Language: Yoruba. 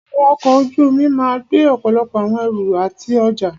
Àwọn ọkọ̀ ojú omi máà gbé ọ̀pọ̀lọpọ̀ àwọn ẹrù àti ọjá.